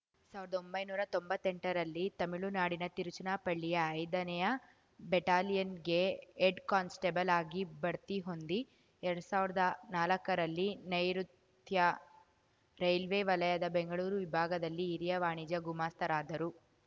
ಸಾವ್ರ್ದೊಂಬೈನೂರಾ ತೊಂಬತ್ತೆಂಟರಲ್ಲಿ ತಮಿಳುನಾಡಿನ ತಿರುಚನಾಪಳ್ಳಿಯ ಐದನೆಯ ಬಟಾಲಿಯನ್‌ಗೆ ಹೆಡ್‌ಕಾನಸ್ಟೇಬಲ್‌ ಆಗಿ ಬಡ್ತಿ ಹೊಂದಿ ಎರಡ್ ಸಾವ್ರ್ದಾ ನಾಲಕ್ಕರಲ್ಲಿ ನೈಋುತ್ಯ ರೈಲ್ವೆ ವಲಯದ ಬೆಂಗಳೂರು ವಿಭಾಗದಲ್ಲಿ ಹಿರಿಯ ವಾಣಿಜ್ಯ ಗುಮಾಸ್ತರಾದರು